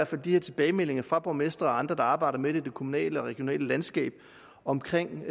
får de her tilbagemeldinger fra borgmestre og andre der arbejder med det i det kommunale og regionale landskab omkring